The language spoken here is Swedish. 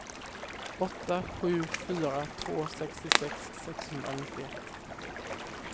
åtta sju fyra två sextiosex sexhundranittioett